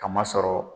Kama sɔrɔ